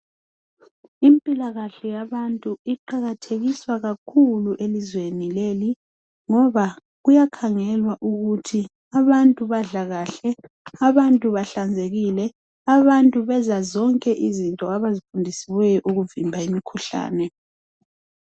Impilakahle yabantu iqakathekiswa kakhulu elizweni leli ngoba kuyakhangelwa ukuthi àbantu badla kuhle, abantu behlanzekile, abantu benza zonke izinto abazifundisiweyo ukuvimba imikhuhlane.